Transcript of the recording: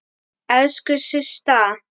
Elsku Systa!